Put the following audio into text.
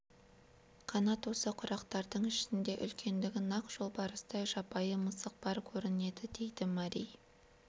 қанат осы құрақтардың ішінде үлкендігі нақ жолбарыстай жабайы мысық бар көрінеді -дейді мәри